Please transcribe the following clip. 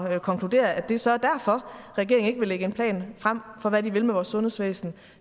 at konkludere at det så er derfor regeringen ikke vil lægge en plan frem for hvad de vil med vores sundhedsvæsen